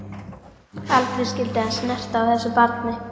Aldrei skyldi hann snerta á þessu barni.